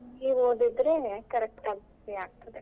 ಅದು ಒದ್ದಿದ್ರೆ correct ಆಗತ್ತೆ.